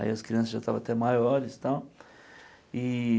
Aí as crianças já estavam até maiores e tal. E